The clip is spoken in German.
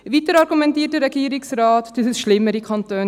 Weiter argumentiert der Regierungsrat, es gebe schlimmere Kantone.